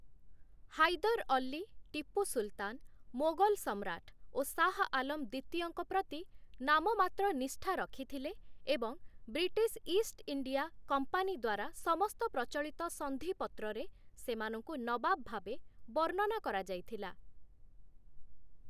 ହାଇଦର ଅଲ୍ଲୀ, ଟିପୁ ସୁଲତାନ, ମୋଗଲ ସମ୍ରାଟ ଓ ଶାହ ଆଲମ୍ ଦ୍ୱିତୀୟଙ୍କ ପ୍ରତି ନାମମାତ୍ର ନିଷ୍ଠା ରଖିଥିଲେ ଏବଂ ବ୍ରିଟିଶ ଇଷ୍ଟଇଣ୍ଡିଆ କମ୍ପାନୀ ଦ୍ୱାରା ସମସ୍ତ ପ୍ରଚଳିତ ସନ୍ଧିପତ୍ରରେ ସେମାନଙ୍କୁ ନବାବ ଭାବେ ବର୍ଣ୍ଣନା କରାଯାଇଥିଲା ।